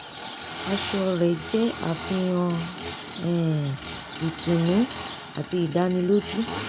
aṣọ rẹ̀ jẹ́ àfihàn um ìtùnú àti ìdánilójú